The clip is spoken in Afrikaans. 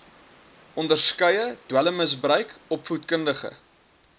onderskeie dwelmmisbruik opvoedkundige